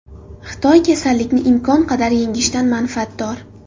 Xitoy kasallikni imkon qadar yengishdan manfaatdor.